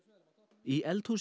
í eldhúsi